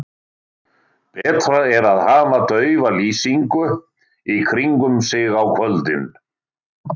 Betra er að hafa daufa lýsingu í kringum sig á kvöldin.